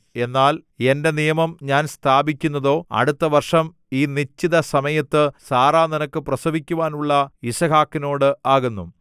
എന്നാൽ എന്റെ നിയമം ഞാൻ സ്ഥാപിക്കുന്നതോ അടുത്ത വർഷം ഈ നിശ്ചിത സമയത്ത് സാറാ നിനക്ക് പ്രസവിക്കുവാനുള്ള യിസ്ഹാക്കിനോട് ആകുന്നു